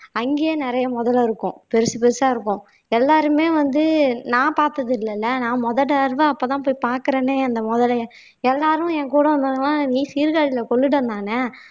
அங்கேயே நிறைய முதலை இருக்கும் பெருசு பெருசா இருக்கும் எல்லாருமே எல்லாருமே வந்து நான் பார்த்தது இல்லைல நான் முதல் தடவை அப்பதான் போய் பார்க்கிறேனே அந்த முதலையை எல்லாரும் என் கூட வந்தவங்க எல்லாம் நீ சீர்காழியில கொள்ளிடம்தானே